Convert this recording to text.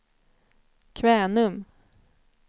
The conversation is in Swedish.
Kvänum